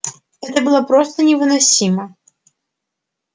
это было просто невыносимо